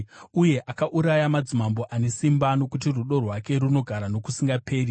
uye akauraya madzimambo ane simba, Nokuti rudo rwake runogara nokusingaperi.